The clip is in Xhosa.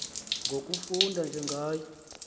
ngokufunda nje ngayo